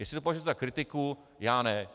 Jestli to považujete za kritiku, já ne.